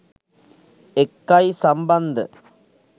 එක්කයි සම්බන්ධ.